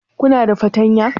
Kuna da fartanya?